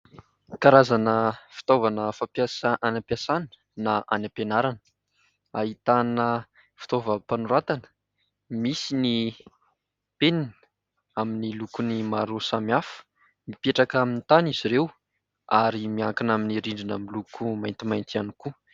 Karazana fitaovana fampiasa any am-piasana na any am-pianarana. Ahitana fitaovam-panoratana, misy ny penina amin'ny lokon'ny maro samihafa. Mipetraka amin'ny tany izy ireo ary miankina amin'ny rindrina miloko maintimainty ihany koa.